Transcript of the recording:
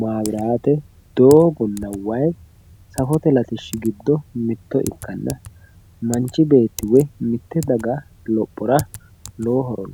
maabiraate doogonna wayi mitto ikkanna manchi beetti woyi mitte daga lophora lowo horo aanno